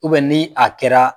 U bɛ ni a kɛra